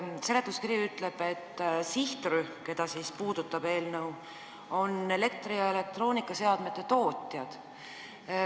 Seletuskiri ütleb, et sihtrühm, keda eelnõu puudutab, on elektri- ja elektroonikaseadmete tootjad.